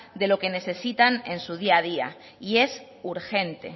de lo que necesitan en su día a día y es urgente